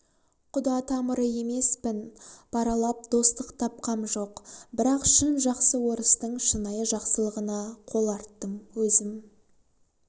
құда тамыры емеспін паралап достық тапқам жоқ бірақ шын жақсы орыстың шынайы жақсылығына қол арттым өзім